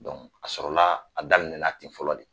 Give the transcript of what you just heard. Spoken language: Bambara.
a sɔrɔla a daminɛna ten fɔlɔ de